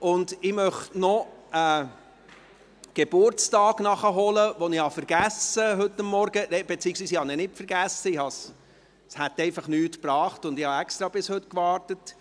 Ich möchte noch einen Geburtstag nachholen, den ich heute Morgen vergessen habe, das heisst, ich habe ihn nicht vergessen, es hätte einfach nichts gebracht, und ich habe extra bis heute gewartet.